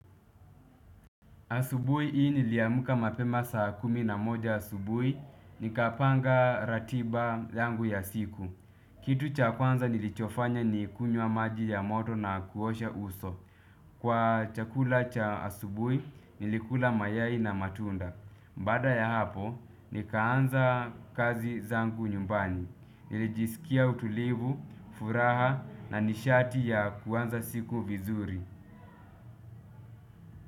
Asubuhi hii niliamka mapema saa kumi na moja asubuhi, nikapanga ratiba yangu ya siku. Kitu cha kwanza nilichofanya ni kunywa maji ya moto na kuosha uso. Kwa chakula cha asubuhi, nilikula mayai na matunda. Baada ya hapo, nikaanza kazi zangu nyumbani. Nilijisikia utulivu, furaha na nishati ya kwanza siku vizuri.